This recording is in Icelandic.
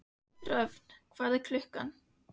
Röfn, hvað er klukkan?